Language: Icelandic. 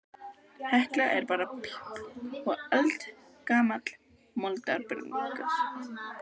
Hekla er bara píp og eldgamall moldarbingur.